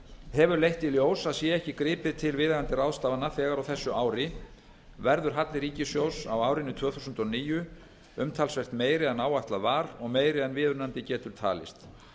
hefur leitt í ljós að sé ekki gripið til viðeigandi ráðstafana þegar á þessu ári verður halli ríkissjóðs á árinu tvö þúsund og níu umtalsvert meiri en áætlað var og meiri en viðunandi getur talist